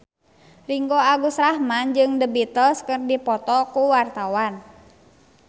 Ringgo Agus Rahman jeung The Beatles keur dipoto ku wartawan